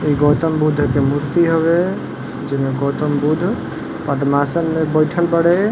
ई गौतम बुद्ध के मुर्ति हउए जे में गौतम बुद्ध पद्मासन में बइठल बाड़े।